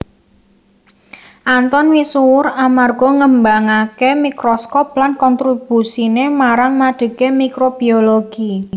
Anton misuwur amarga ngembangaké mikroskop lan kontrobusiné marang madegé mikrobiologi